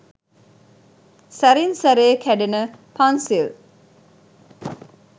සැරින් සැරේ කැඩෙන පන්සිල්